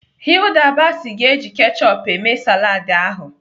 Hilda Baci ga-eji kechup eme saladị ahụ.